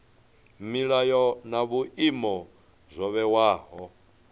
milayo na vhuimo zwo vhewaho